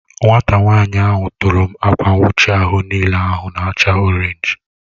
Nwata nwanyi ahụ u tụrụ m akwa nwuchi ahụ n'ile ahụ n'acha Orénj